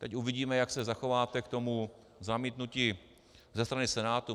Teď uvidíme, jak se zachováte k tomu zamítnutí ze strany Senátu.